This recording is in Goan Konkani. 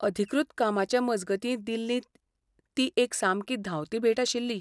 अधिकृत कामाचे मजगतीं दिल्लींत ती एक सामकी धांवती भेट आशिल्ली.